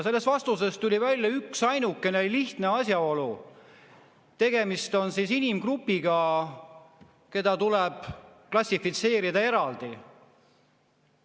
Sellest vastusest tuli välja üksainukene lihtne asjaolu: tegemist on inimgrupiga, keda tuleb klassifitseerida eraldi.